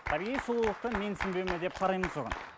табиғи сұлулықты менсінбеу ме деп қараймыз оған